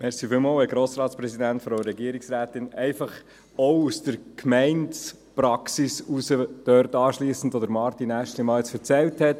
Ich möchte einfach auch aus der Gemeindepraxis erzählen, was Martin Aeschlimann erzählt hat.